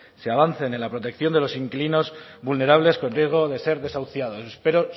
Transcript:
se avance en la protección de los inquilinos vulnerables con riesgo de ser desahuciados espero